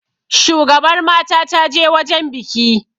shugabar mata ta je wajen biki